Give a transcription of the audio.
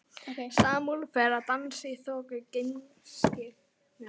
Salóme fær að dansa í þoku gleymskunnar.